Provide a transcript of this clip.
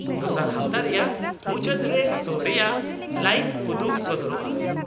ᱫᱚᱥᱟᱨ ᱦᱟᱯᱛᱟ ᱨᱮᱭᱟᱜ ᱢᱩᱪᱟ.ᱫ ᱨᱮ ᱥᱳ ᱨᱮᱭᱟᱜ ᱞᱟᱭᱤᱵᱷ ᱩᱫᱩᱜ ᱥᱚᱫᱚᱨᱚᱜᱼᱟ ᱾